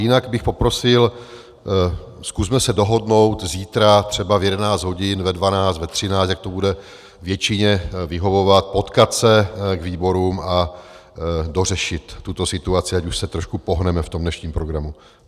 Jinak bych poprosil, zkusme se dohodnout zítra třeba v 11 hodin, ve 12, ve 13, jak to bude většině vyhovovat, potkat se k výborům a dořešit tuto situaci, ať už se trošku pohneme v tom dnešním programu.